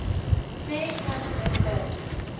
sê katherine de